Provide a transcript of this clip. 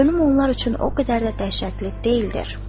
Ölüm onlar üçün o qədər də dəhşətli deyildir.